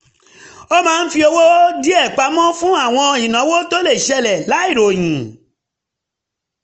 ó máa ń fi owó díẹ̀ pamọ́ fún àwọn ìnáwó tó lè ṣẹlẹ̀ láìròyìn